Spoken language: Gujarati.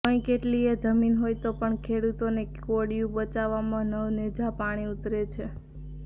કંઈ કેટલીય જમીન હોય તો પણ ખેડુતોને કોડીયું બચાવવામાં નવનેજા પાણી ઉતરે છે